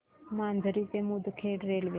माजरी ते मुदखेड रेल्वे